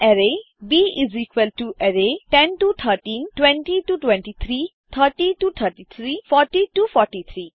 array ब array10 11 12 13 20 21 22 23 30 31 32 33 40 41 42 43 दी है